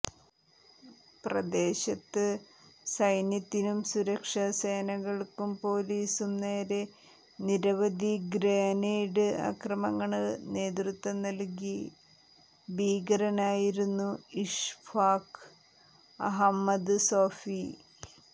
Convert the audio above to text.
പ്രദേശത്ത് സൈന്യത്തിനും സുരക്ഷാ സേനകള്ക്കും പൊലീസിനും നേരെ നിരവധി ഗ്രനേഡ് ആക്രമണങ്ങള്ക്ക് നേതൃത്വം നല്കിയ ഭീകരനായിരുന്നു ഇഷ്ഫാഖ് അഹമ്മദ് സോഫി